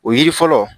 O yiri fɔlɔ